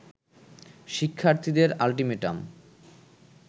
শিক্ষার্থীদের আল্টিমেটাম